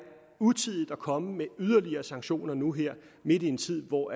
utidigt at komme med yderligere sanktioner nu her midt i en tid hvor